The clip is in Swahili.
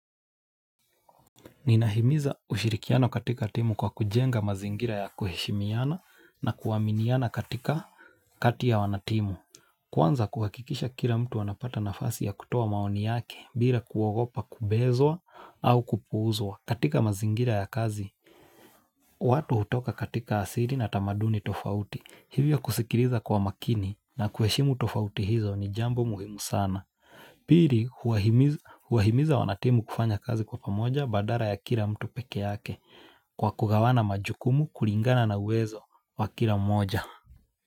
Ninahimiza ushirikiano katika timu kwa kujenga mazingira ya kuheshimiana na kuaminiana katika kati ya wanatimu. Kwanza kuhakikisha kila mtu anapata nafasi ya kutoa maoni yake bila kuwagopa kubezwa au kupuuzwa katika mazingira ya kazi. Watu hutoka katika asili na tamaduni tofauti. Hivyo kusikiliza kwa makini na kuheshimu tofauti hizo ni jambo muhimu sana. Pili huwahimiza wanatimu kufanya kazi kwa pamoja badala ya kila mtu pekee yake kwa kugawana majukumu kulingana na uwezo wa kila mmoja.